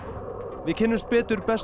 við kynnumst betur bestu